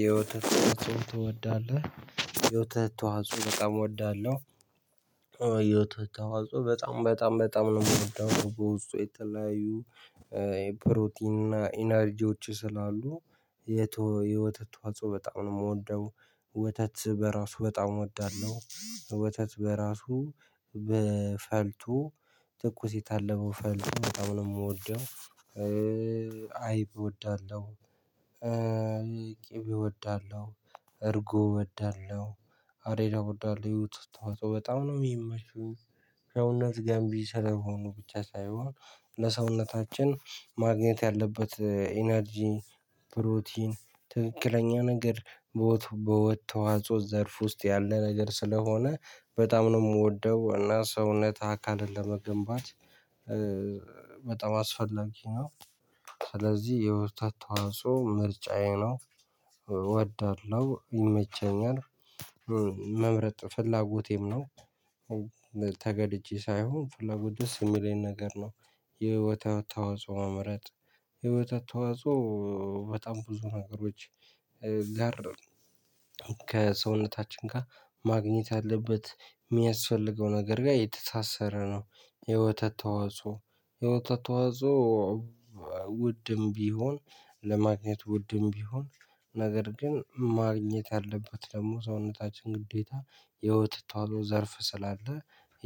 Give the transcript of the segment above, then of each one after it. የወተት ተዋጽኦ ትወዳለህ? የውተት ተዋጽኦ በጣም እወዳለሁ። የወተት ተዋጽኦ በጣም በጣም በጣም ነው ምወደው በወስጡ የተለያዩ የፕሮቲን እና ኢነርጂዎች ስላሉ። የውተት ተዋጽኦ በጣም ነው ምወደው። ወተት በራሱ በጣም እውዳለሁ ወተት በራሱ በፈልቶ ትኩስ የታለበው ፈልቶ በጣም ነው የምወደው። አይብ እወዳለሁ። ቅቤ እወዳለሁ እርጎ እወዳለሁ። አሬራ እወዳለሁ የወተት ተዎጽዖ በጣም ነው የሚመቹኝ ሰውነት ገምቢ ስለሆኑ ብቻ ሳይሆን ለሰውነታችን ማግኘት ያለበት ኢነርጂ። ፕሮቲን ትክክለኛ ነገር በወተት በወተት ተዋጽኦ ዘርፍ ውስጥ ያለ ነገር ስለሆነ በጣም ነው የምወደው። እና ሰውነት አካልን ለመገንባት በጣም አስፈላጊ ነው። ስለዚህ የወተት ተዋጾዖ ምርጫዬ ነው። እወዳለሁ ይመቸኛል። መምረጥ ፍላጎቴም ነው። ተገድጄ ሳይሆን ፍላጎት ደስ የሚለኝ ነገር ነው። የወተት ተዋጽኦ መምረጥ የወተት ተዋጽኦ በጣም ብዙ ነገሮች። ጋር ከሰውነታችን ጋር ማግኘት ያለበት የሚያስፈልገው ነገር ጋር የተሳሰረ ነው። የወተት ተዋጽኦ የወተት ተዋጾዖ። ውድም ቢሆን ለማግኘት ውድም ቢሆን ነገር ግን ማግኘት ያለበት ደግሞ ሰውነታችን ግዴታ። የወተት ተዋጾዖ ዘርፍ ስላለ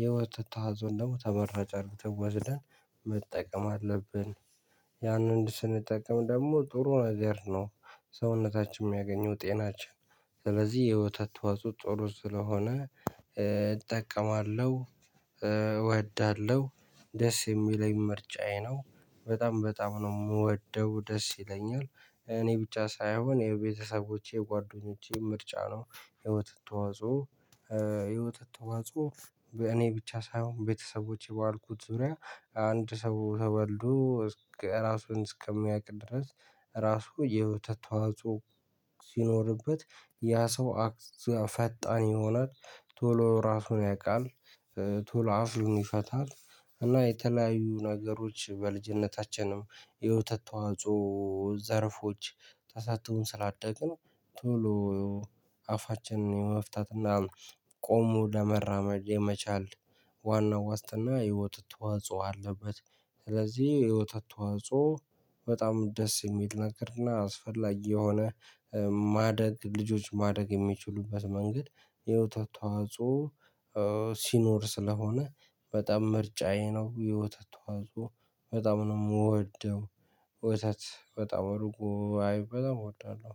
የወተት ተዎጾዕን ደግሞ ተመራጭ አድርገን ወስደን መጠቀም አለብን። ያንን ስንጠቀም ደግሞ ጥሩ ነገር ነው። ሰውነታችን የሚያገኘው ጤናችን ስለዚህ የወተት ተዋጾዖ ጥሩ ስለሆነ እጠቀማለሁ። እወዳለሁ ደስ የሚለኝ ምርጫዬ ነው። በጣም በጣም ነው የምወደው ደስ ይለኛል። እኔ ብቻ ሳይሆን የቤተሰቦቼ የጓደኞቼም ምርጫ ነው። የወተት ተዋጽዖ የወተት ተዋጾዖ እኔ ብቻ ሳይሆን ቤተሰቦቼ ባልኩት ዙሪያ አንድ ሰው ተወልዶ እስከ እራሱን እስከሚያውቅ ድረስ። እራሱ የወተት ተዋጾዖ ሲኖርበት ያ ሰው። ፈጣን ይሆናል ቶሎ እራሱን ያውቃል። ቶሎ አፉን ይፈታል። እና የተለያዩ ነገሮች በልጅነታችንም የወተት ተዋጾዖ ዘርፎች ተሰጠውን ስላደግን። ቶሎ አፋችንን የመፍታት እና ቆሞ ለመራመድ የመቻል ዋናው ዋስትና የወተት ተዋጾዖ አለበት። ስለዚህ የወተት ተዋጾዖ በጣም ደስ የሚል ነገር እና አስፈላጊ የሆነ። ማደግ ልጆች ማደግ የሚችሉበት መንገድ የወተት ተዋጾዖ ሲኖር ስለሆነ። በጣም ምርጫዬ ነው የወተት ተዋጾዖ በጣም ነው የምወደው። ወተት በጣም እርጎ አይብ በጣም እወዳለሁ።